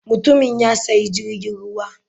Mutumin ya sayi jirgin ruwa.